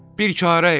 Bir çarə elə.